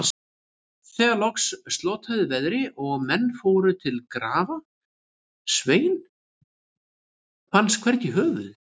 Þegar loks slotaði veðri og menn fóru til að grafa Svein, fannst hvergi höfuðið.